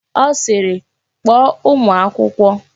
Ọ sịịrị, kpọọ ụmụ akwụkwọ!